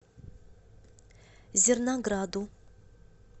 зернограду